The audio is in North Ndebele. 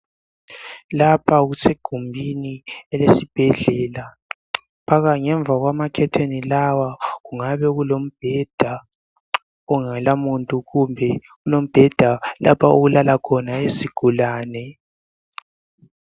Lapha kusegumbini lesibhedlela. Phakathi ngemva kwamakhetheni laya kukhanya kulobheda ongela muntu, kumbe kulombeda lapho okulala khona izigulane.